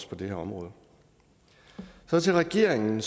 på det her område så til regeringen